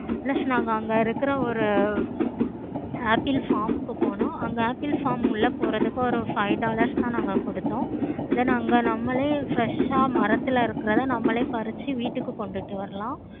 plus நா அங்க இருக்குற ஒரு apple pharm முக்கு போனும். apple pharm உள்ள போறதுக்கு ஒரு five dollars தான் நாங்க கொடுத்தோம். then அங்க நம்மளே fresh ஆஹ் மரத்துல இருக்குறத நம்மளே பறிச்சி வீட்டுக்கு கொண்டுட்டு வரலாம்.